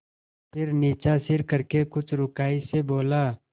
फिर नीचा सिर करके कुछ रूखाई से बोला